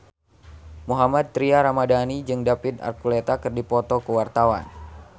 Mohammad Tria Ramadhani jeung David Archuletta keur dipoto ku wartawan